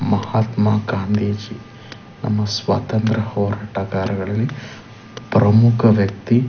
ಮಹಾತ್ಮ ಗಾಂಧೀಜಿ ನಮ್ಮ ಸ್ವಾತಂತ್ರ ಹೋರಾಟಗಾರರಲ್ಲಿ ಪ್ರಮುಖ ವ್ಯಕ್ತಿ .